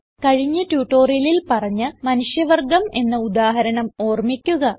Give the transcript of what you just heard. കഴിഞ്ഞ ട്യൂട്ടോറിയലിൽ പറഞ്ഞ മനുഷ്യ വർഗം എന്ന ഉദാഹരണം ഓർമിക്കുക